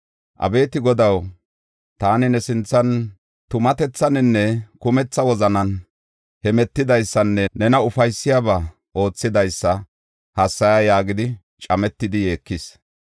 “Abeeti Godaw, taani ne sinthan tumatethaninne kumetha wozanan hemetidaysanne nena ufaysiyabaa oothidaysa hassaya” yaagidi cametidi yeekis.